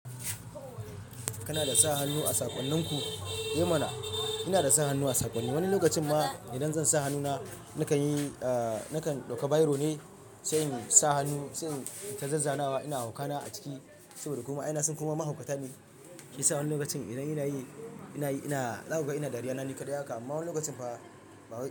Kana da sa hannu a saƙonninku? Eh mana! Ina da sa hannu a saƙonni. Wani lokacin ma idan zan sa hannuna nakan yi, ahhh, nakan ɗauka biro ne sayin sa hannu, sayin ta zazzanawa ina hauka na a ciki saboda kuma ina suna kuma mahaukata ne. Hi sa wani lokacin ina yana yi, ina yi ina, na zakuga ina dariya na ni kaɗai haka. Amma wani lokacin fa ba wai ba.